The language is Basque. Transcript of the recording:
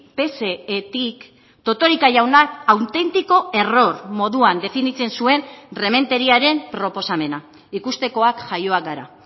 psetik totorika jaunak auténtico error moduan definitzen zuen rementeriaren proposamena ikustekoak jaioak gara